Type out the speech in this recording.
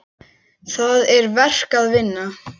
Það er verk að vinna.